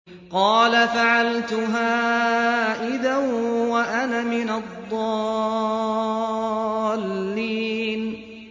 قَالَ فَعَلْتُهَا إِذًا وَأَنَا مِنَ الضَّالِّينَ